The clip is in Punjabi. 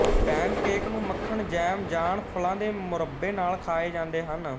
ਪੈਨਕੇਕ ਨੂੰ ਮੱਖਣ ਜੈਮ ਜਾਨ ਫਲਾਂ ਦੇ ਮੁਰੱਬੇ ਨਾਲ ਖਾਏ ਜਾਂਦੇ ਹਨ